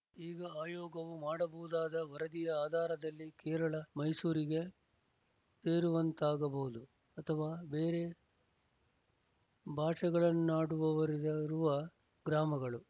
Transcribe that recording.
ಈಗ ಆಯೋಗವು ಮಾಡಬಹುದಾದ ವರದಿಯ ಆಧಾರದಲ್ಲಿ ಕೇರಳ ಮೈಸೂರಿಗೆ ಸೇರುವಂತಾಗಬಹುದು ಅಥವಾ ಬೇರೆ ಭಾಷೆಗಳನ್ನಾಡುವವರಿರುವ ಗ್ರಾಮಗಳು